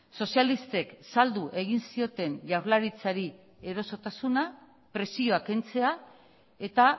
sozialistek saldu egin zioten jaurlaritzari erosotasuna presioa kentzea eta